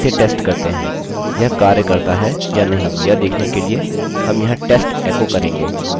आगे बढ़ते हैं और इसे टेस्ट करते हैं यह कार्य करता है या नहीं यह देखने के लिए हम यहाँ test एको करेंगे